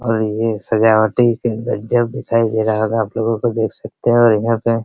और ये सजावटी के अंदर जग दिखाई दे रहा होगा आपलोगो को देख सकते है और इधर पे --